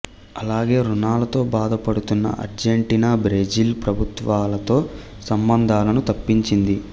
అలాగే ఋణాలతో బాధపడుతున్న అర్జెంటీనా బ్రెజిల్ ప్రభుత్వాలతో సంబంధాలను తప్పించింది